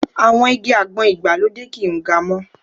Àwọn igi àgbọn ìgbàlódé kì ń ga mọ́.